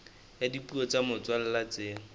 ya dipuo tsa motswalla tse